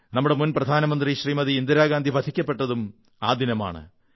നമ്മുടെ മുൻ പ്രധാനമന്ത്രി ശ്രമതി ഇന്ദിരാഗാന്ധി വധിക്കപ്പെട്ടതും ആ ദിനമാണ്